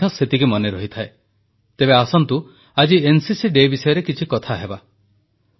ଆଜି ମନ୍ କୀ ବାତ ଆରମ୍ଭ ହେଉ ଯୁବଦେଶର ଯୁବବର୍ଗ ସେହି ଉଦ୍ଦୀପନା ସେହି ଦେଶଭକ୍ତି ସେହି ସେବାର ରଙ୍ଗରେ ରଙ୍ଗାୟିତ ନବଯୁବକଙ୍କଠାରୁ